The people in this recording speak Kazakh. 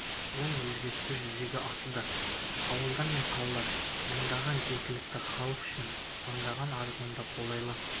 оң өзгерістер жүзеге асуда ауылдар мен қалалар маңындағы жергілікті халық үшін мыңдаған арзан да қолайлы